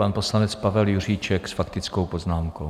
Pan poslanec Pavel Juříček s faktickou poznámkou.